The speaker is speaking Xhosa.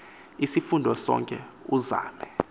isifundo sonke uzame